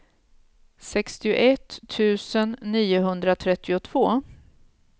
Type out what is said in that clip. sextioett tusen niohundratrettiotvå